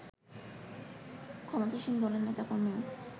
ক্ষমতাসীন দলের নেতাকর্মীও